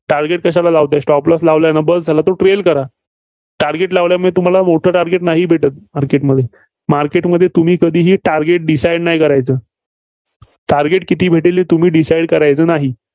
target कशाला लावताय? stopp loss लावलंय ना बस झालं. trail करा. target लावल्यामुळे तुम्हाला मोठं target नाही भेटत market मध्ये. market मध्ये तुम्ही कधीही target decide नाही करायचे. target किती भेटेल हे तुम्ही Decide करायचं नाही.